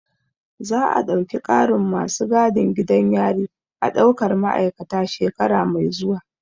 Za a ɗauki ƙarin masu gadin gidan yari a ɗaukar ma'aikata shekara mai zuwa